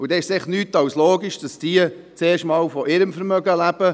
Und dann ist es nichts als logisch, dass diese zuerst einmal von ihrem Vermögen leben.